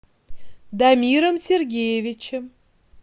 дамиром сергеевичем